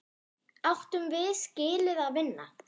Áttum við skilið að vinna?